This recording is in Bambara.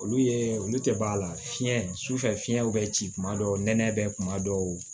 Olu ye olu tɛ b'a la fiɲɛ sufɛ fiɲɛ bɛ ci kuma dɔw nɛnɛ bɛ kuma dɔw